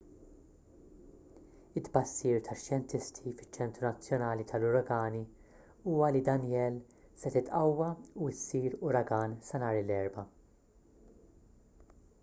it-tbassir tax-xjentisti fiċ-ċentru nazzjonali tal-uragani huwa li danielle se titqawwa u ssir uragan sa nhar l-erbgħa